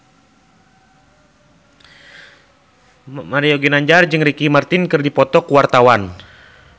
Mario Ginanjar jeung Ricky Martin keur dipoto ku wartawan